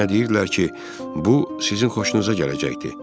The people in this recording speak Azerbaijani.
Mənə deyirdilər ki, bu sizin xoşunuza gələcəkdir,